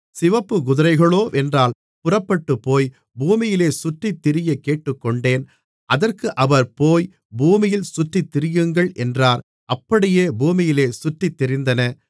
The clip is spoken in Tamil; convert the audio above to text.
சிவப்புக் குதிரைகளோவென்றால் புறப்பட்டுப்போய் பூமியிலே சுற்றித்திரிய கேட்டுக்கொண்டன அதற்கு அவர் போய் பூமியில் சுற்றித்திரியுங்கள் என்றார் அப்படியே பூமியிலே சுற்றித்திரிந்தன